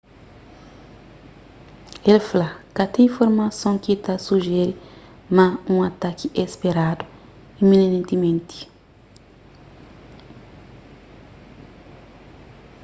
el fla ka ten informason ki ta sujere ma un ataki é speradu iminentimenti